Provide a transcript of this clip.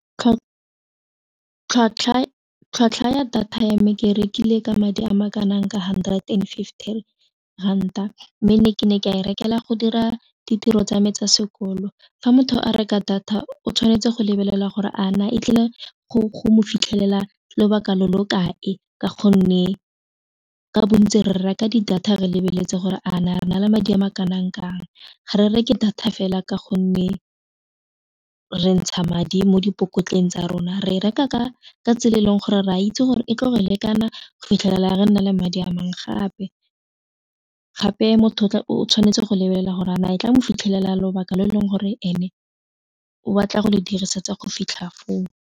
Tlhwatlhwa ya data ya me ke rekile ka madi a makanang ka hundred and fifty ranta mme ne ke ne ke a e rekelwa go dira ditiro tsa me tsa sekolo, fa motho a reka data o tshwanetse go lebelela gore a na e tlile go mo fitlhelela lobaka lo lo kae ka gonne ka bontsi re reka di data re lebeletse gore a na re na le madi a ma kanang kang, ga re reke data fela ka gonne re ntsha madi mo dipokotleng tsa rona re reka ka tsela e leng gore re a itse gore e ka go lekana fitlhelela re nne le madi a mangwe gape gape motho o tshwanetse go lebelela gore a na e tla mo fitlhelela lobaka lo e leng gore ene o batla go le dirisa tsa go fitlha foo.